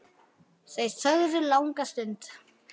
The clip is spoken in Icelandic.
Þau þögðu langa stund.